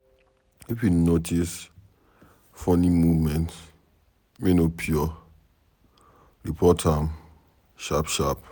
If we notice funny movement wey no pure, report am sharp sharp.